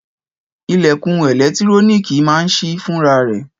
Ìlẹ̀kùn ẹ̀lẹ́tíróníkì máa ń sí fúnra rẹ̀